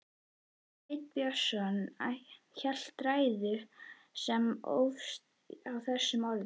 Sveinn Björnsson hélt ræðu sem hófst á þessum orðum